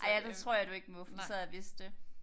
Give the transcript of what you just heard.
Ej ja det tror jeg du ikke må fordi så havde jeg vidst det